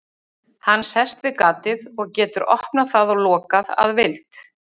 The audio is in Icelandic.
Hann sest við gatið og getur opnað það og lokað að vild.